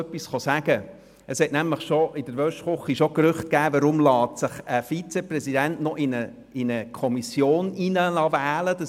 In der Waschküche hat es nämlich bereits das Gerücht gegeben, und man fragte sich, weshalb sich ein Vizepräsident in eine Kommission wählen lasse.